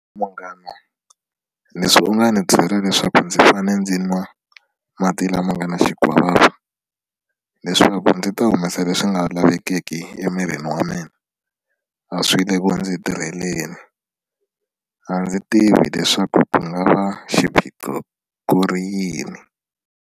Munghana leswi u nga ni byela leswaku ndzi fane ndzi nwa mati lama nga ni xikwavava leswaku ndzi ta humesa leswi nga lavekeki emirini wa mina a swi le ku ndzi tirheleni a ndzi tivi leswaku ku nga va xiphiqo ku ri yini.